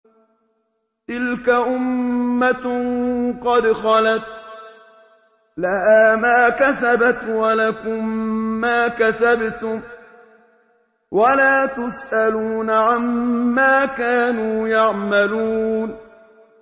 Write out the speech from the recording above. تِلْكَ أُمَّةٌ قَدْ خَلَتْ ۖ لَهَا مَا كَسَبَتْ وَلَكُم مَّا كَسَبْتُمْ ۖ وَلَا تُسْأَلُونَ عَمَّا كَانُوا يَعْمَلُونَ